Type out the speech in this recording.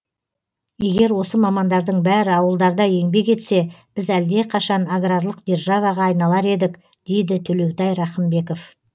егер осы мамандардың бәрі ауылдарда еңбек етсе біз әлдеқашан аграрлық державаға айналар едік дейді төлеутай рақымбеков